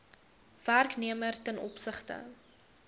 werknemer ten opsigte